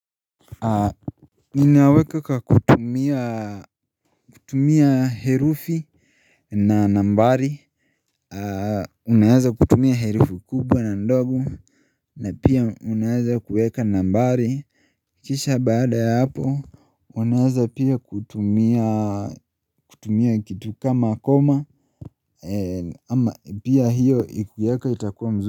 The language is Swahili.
Ninaweka kwa kutumia, kutumia herufi na nambari Unaweza kutumia herufi kubwa na ndogo na pia unaeza kuweka nambari kisha baada ya hapo Unaweza pia kutumia kitu kama koma ama pia hiyo ukiweka itakuwa mzuri.